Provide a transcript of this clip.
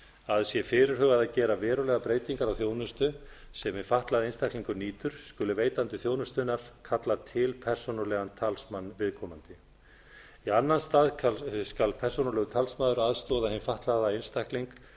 að sé fyrirhugað að gera verulegar breytingar á þjónustu sem hinn fatlaði einstaklingur nýtur skuli veitandi þjónustunnar kalla til persónulegan talsmann viðkomandi í annan stað skal persónulegur talsmaður aðstoða hinn fatlaða einstakling við